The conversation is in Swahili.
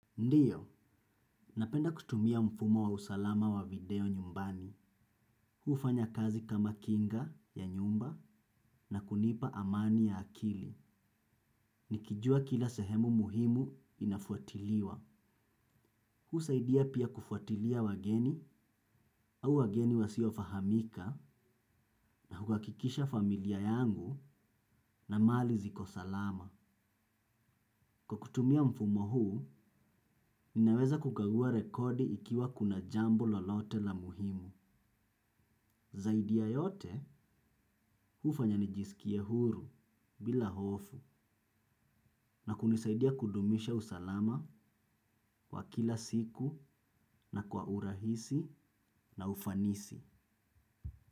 Ndiyo, napenda kutumia mfumo wa usalama wa video nyumbani. Huufanya kazi kama kinga ya nyumba na kunipa amani ya akili. Nikijua kila sehemu muhimu inafuatiliwa. Huusaidia pia kufuatilia wageni au wageni wasiofahamika na huakikisha familia yangu na mali ziko salama. Kwa kutumia mfumo huu, ninaweza kukagua rekodi ikiwa kuna jambo lolote la muhimu. Zaidi ya yote hufanya nijisikie huru bila hofu na kunisaidia kudumisha usalama wa kila siku na kwa urahisi na ufanisi.